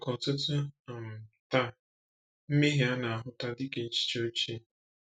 Maka ọtụtụ um taa, mmehie a na-ahụta dị ka echiche ochie.